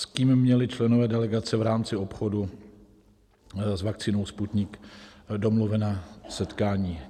S kým měli členové delegace v rámci obchodu s vakcínou Sputnik domluvena setkání?